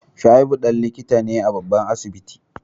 Shaibu dan likita ne a babban asibiti